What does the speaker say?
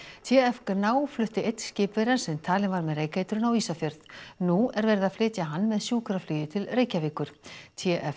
t f Gná flutti einn skipverjann sem talinn var með reykeitrun á Ísafjörð nú er verið að flytja hann með sjúkraflugi til Reykjavíkur t f